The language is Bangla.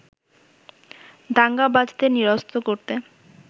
দাঙ্গাবাজদের নিরস্ত করতে